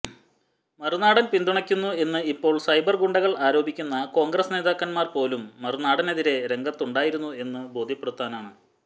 മറുനാടൻ പിന്തുണയ്ക്കുന്നു എന്ന് ഇപ്പോൾ സൈബർ ഗുണ്ടകൾ ആരോപിക്കുന്ന കോൺഗ്രസ് നേതാക്കന്മാർ പോലും മറുനാടനെതിരെ രംഗത്തുണ്ടായിരുന്നു എന്ന് ബോധ്യപ്പെടുത്താനാണ്